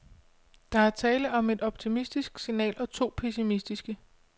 Der var tale om et optimistisk signal og to pessimistiske.